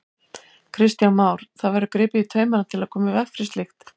Kristján Már: Það verður gripið í taumana til að koma í veg fyrir slíkt?